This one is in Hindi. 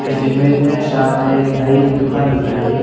इस इमेज में सामने एक नाई की दुकान दिख रही है।